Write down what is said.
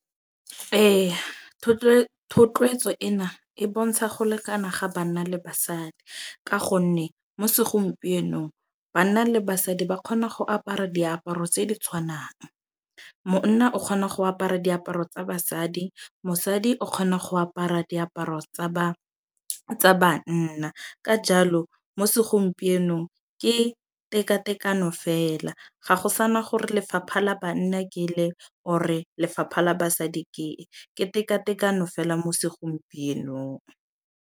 Eya thotloetso e na e bontsha go lekana ga banna le basadi. Ka gonne mo segompienong banna le basadi ba kgona go apara diaparo tse di tshwanang. Monna o kgona go apara diaparo tsa basadi. Mosadi o kgona go apara diaparo tsa tsa banna. Ka jalo mo segompienong ke tekatekano fela. Ga go sana gore lefapha la banna ke le or lefapha la basadi ke, ke tekatekano fela mo segompienong.